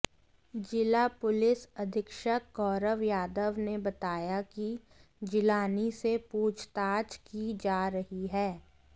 जिला पुलिस अधीक्षक गौरव यादव ने बताया कि जिलानी से पूछताछ की जा रही है